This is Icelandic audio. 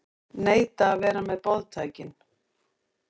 Neita að vera með boðtækin